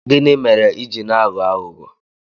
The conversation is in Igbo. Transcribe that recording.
Gịnị mere ị ji na-aghọ aghụghọ?